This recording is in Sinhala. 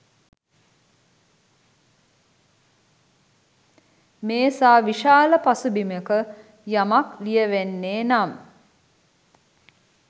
මේ සා විශාල පසුබිමක යමක් ලියැවෙන්නේ නම්